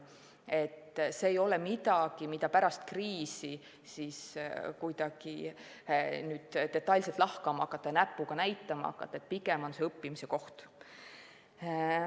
ei ole midagi, mida pärast kriisi kuidagi detailselt lahkama hakata ja millele näpuga näidata, vaid pigem on see õppimise koht.